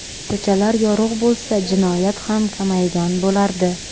Ko‘chalar yorug‘ bo‘lsa, jinoyat ham kamaygan bo‘lardi.